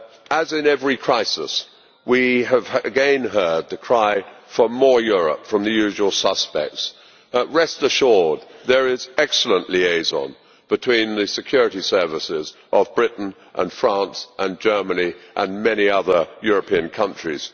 As in every crisis, we have again heard the cry for more Europe' from the usual suspects. Rest assured there is excellent liaison between the security services of Britain and France and Germany and many other European countries.